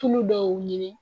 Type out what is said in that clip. Tulu dɔw ɲini